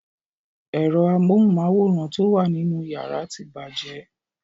Ero amóhunmáwòrán ti o wà nínú yàrá tí bàjẹ́.